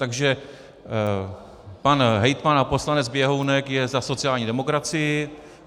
Takže pan hejtman a poslanec Běhounek je za sociální demokracii.